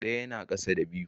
Ɗaya yana ƙasa da biyu.